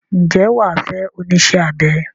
Ǹjẹ́ wà á fẹ́ onísẹ́-abẹ?